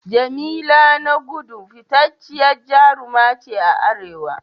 Jamila Nagudu fitacciyar jaruma ce a Arewa.